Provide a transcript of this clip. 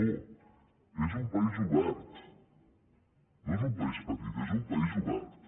no és un país obert no és un país petit és un país obert